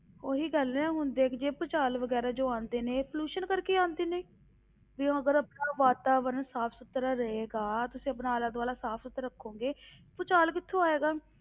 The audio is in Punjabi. ਉਹੀ ਗੱਲ ਹੈ ਹੁਣ ਦੇਖ ਜੇ ਭੂਚਾਲ ਵਗ਼ੈਰਾ ਜੋ ਆਉਂਦੇ ਨੇ pollution ਕਰਕੇ ਹੀ ਆਉਂਦੇ ਨੇ, ਵੀ ਅਗਰ ਆਪਣਾ ਵਾਤਾਵਰਣ ਸਾਫ਼ ਸੁਥਰਾ ਰਹੇਗਾ, ਤੁਸੀਂ ਆਪਣਾ ਆਲਾ ਦੁਆਲਾ ਸਾਫ਼ ਸੁਥਰਾ ਰੱਖੋਗੇ, ਭੂਚਾਲ ਕਿੱਥੋਂ ਆਏਗਾ।